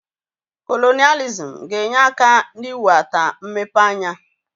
Kolonailizm ga-enye aka n'iwe ata mmepe anya.